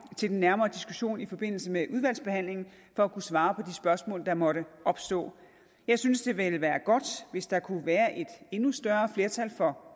til den nærmere diskussion i forbindelse med udvalgsbehandlingen for at kunne svare på spørgsmål der måtte opstå jeg synes det ville være godt hvis der kom et endnu større flertal for